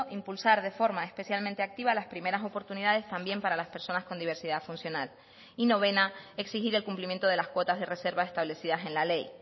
impulsar de forma especialmente activa las primeras oportunidades también para las personas con diversidad funcional y novena exigir el cumplimiento de las cuotas de reserva establecidas en la ley